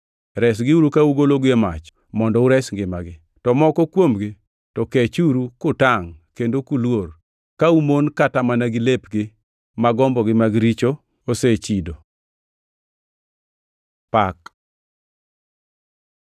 resgiuru ka ugologi e mach mondo ures ngimagi, to moko kuomgi to kechuru kutangʼ kendo kuluor, ka umon kata mana gi lepgi ma gombogi mag richo osechido. Pak